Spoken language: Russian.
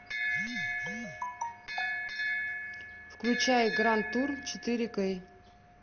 включай гранд тур четыре кей